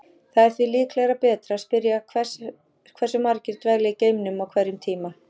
Það er því líklega betra að spyrja hversu margir dvelja í geimnum á hverjum tíma.